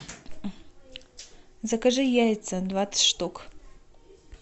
закажи яйца двадцать штук